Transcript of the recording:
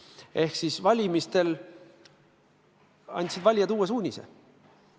Seega valimistel andsid valijad uue suunise.